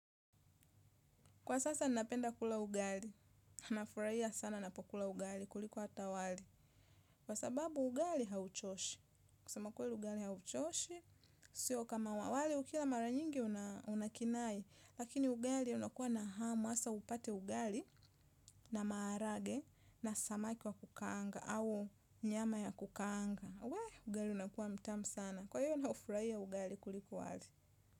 Kwa sasa napenda kula ugali, na nafurahia sana ninapokula ugali kuliko hata wali. Kwa sababu ugali hauchoshi. Kusema ukweli ugali hauchoshi, sio kama wali, wali ukila mara nyingi unakinai. Lakini ugali unakuwa na hamu, hasa upate ugali na maharage na samaki wa kukaanga au nyama ya kukaanga. Wee, ugali unakuwa mtamu sana. Kwa hiyo naufurahia ugali kuliko wali.